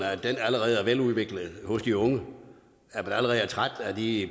at den allerede er veludviklet hos de unge at man allerede er træt af de